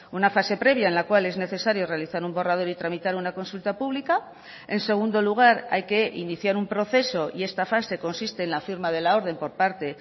una fase previa en la cual es necesario realizar un borrador y tramitar una consulta pública en segundo lugar hay que iniciar un proceso y esta fase consiste en la firma de la orden por parte